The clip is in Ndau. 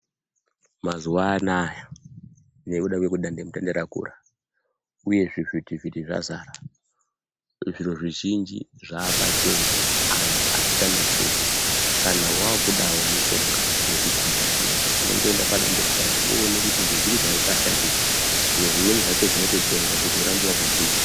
Mazuwa anaaya nekuda kwekuti dande mutande rakura uye zvivhiti vhiti zvazara zviro zvizhinji zvaapachena antu atichanetseki kana wakudwwo mushonga yekugwinya kunoku unongoende padande mutande Woone kuti ngezviro zvaungashandisa zviro zvimweni zvacho zvinototengwa kuti urambe wakagwinya.